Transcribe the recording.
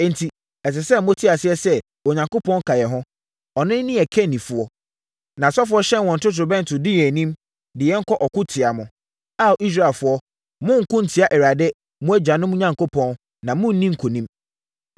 Enti, ɛsɛ sɛ mote aseɛ sɛ Onyankopɔn ka yɛn ho. Ɔno ne yɛn kannifoɔ. Nʼasɔfoɔ hyɛn wɔn totorobɛnto, di yɛn anim, de yɛn kɔ ɔko tia mo. Ao Israelfoɔ, monnko ntia Awurade, mo agyanom Onyankopɔn, na morenni nkonim.”